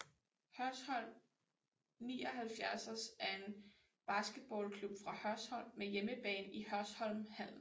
Hørsholm 79ers er en basketballklub fra Hørsholm med hjemmebane i Hørsholm Hallen